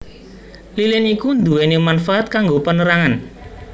Lilin iku nduweni manfaat kanggo penerangan